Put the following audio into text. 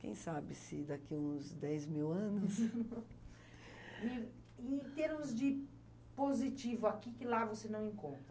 Quem sabe se daqui uns dez mil anos... E, em termos de positivo aqui, que lá você não encontra?